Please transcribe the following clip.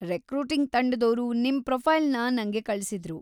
Recruiting ತಂಡದೋರು ನಿಮ್ ಪ್ರೊಫೈಲ್‌ನ ನಂಗೆ ಕಳ್ಸಿದ್ರು.